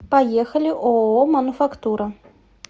поехали ооо мануфактура